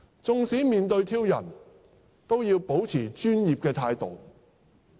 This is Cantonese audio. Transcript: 縱使面對挑釁，都要保持專業態度。